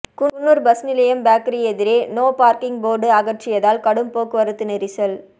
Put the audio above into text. Coonoor bus நிலையம் bakery எதிரே no parking board அகற்றியதால் கடும் போக்குவரத்து நெரிசல்